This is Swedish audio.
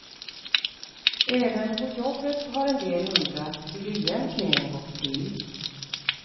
Även på jobbet har en del undrat hur det egentligen gått till.